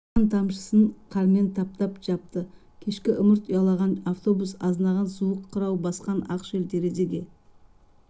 қан тамшысын қармен таптап жапты кешкі ымырт ұялаған автобус азынаған суық қырау басқан ақ шел терезеге